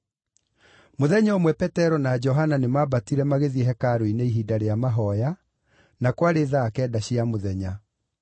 Mũthenya ũmwe Petero na Johana nĩmambatire magĩthiĩ hekarũ-inĩ ihinda rĩa mahooya, na kwarĩ thaa kenda cia mũthenya.